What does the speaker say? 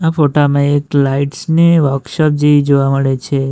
ફોટામાં એક લાઇટ્સ ની વર્કશોપ જેવી જોવા મળે છે.